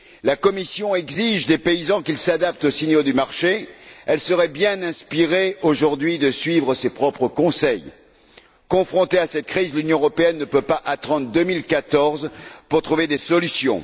La Commission exige des paysans qu'ils s'adaptent aux signaux du marché, elle serait bien inspirée aujourd'hui de suivre ses propres conseils. Confrontée à cette crise, l'Union européenne ne peut pas attendre 2014 pour trouver des solutions.